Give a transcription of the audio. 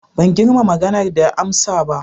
Ban girmama maganarsa da amsa ba.